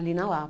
Ali na Lapa.